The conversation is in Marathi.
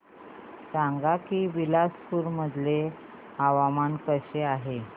सांगा की बिलासपुर चे हवामान कसे आहे